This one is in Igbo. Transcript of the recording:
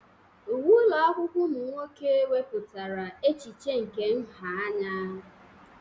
Uwe ụlọ akwụkwọ ụmụ nwoke wepụtara echiche nke nha anya.